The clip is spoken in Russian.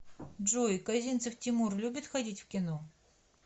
джой козинцев тимур любит ходить в кино